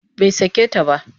Bai sake ta ba